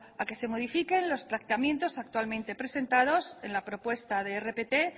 a que se modifiquen los planteamientos actualmente presentados en la propuesta de rpt